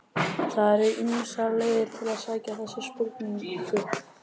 Það eru ýmsar leiðir til að skilja þessa spurningu.